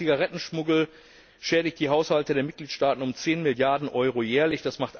Allein der Zigarettenschmuggel schädigt die Haushalte der Mitgliedstaaten um zehn Milliarden Euro jährlich.